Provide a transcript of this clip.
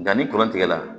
Nga ni kɔrɔ tigɛ la